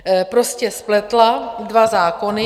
- prostě spletla dva zákony...